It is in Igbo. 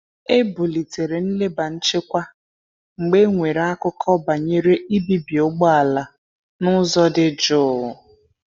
E bulitere nleba nchekwa mgbe e nwere akụkọ banyere ibibi ụgbọala na ụzọ dị jụụ.